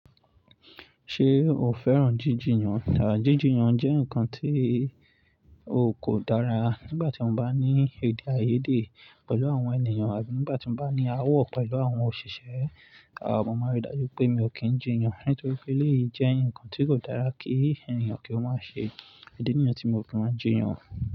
Ṣé o fẹ́ràn jí jiyan? À, jíjiyàn jẹ́ ǹkan tí o kò dára. Nígbà tí mo bá ní èdèàìyedè pẹ̀lú àwọn ènìyàn àbí nígbà tí mo bá ní áwò pẹ̀lú àwọn òṣìṣẹ́, mọ máa n rí dájú pé mi ò kí ń jiyan nítorí pé eléyìí jẹ́ ǹkan tí kò dára kí ènìyàn kí wọ́n má ṣe. Ìdí nìyàn tí mi ò kí máa jiyan.